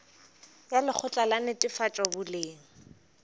ya lekgotla la netefatšo boleng